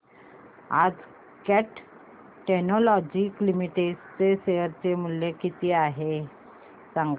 आज cat technologies limited चे share चे मूल्य किती आहे सांगा